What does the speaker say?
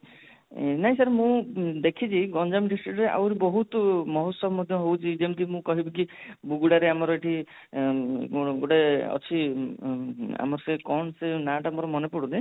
ନାଇଁ sir ମୁଁ ଦେଖିଛି ଗଞ୍ଜାମ district ର ଆଉ ବହୁତ ମହୋଚ୍ଚବ ମଧ୍ୟ ହୋଉଛି ଯେମିତି କି ମୁଁ କହିବି କି ମୁଗୁଡା ରେ ଆମର ଏଠି ଗୋଟେ ଅଛି ଆମ ସେ କଣ ସେ ନା ଟା ମୋର ମାନେ ପଡୁନି